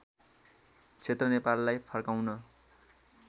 क्षेत्र नेपाललाई फर्काउन